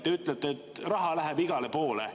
Te ütlete, et raha läheb igale poole.